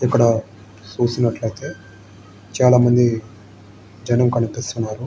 ఇక్కడ చూసినట్లయితే చానా మంది జనం కనిపిస్తున్నారు.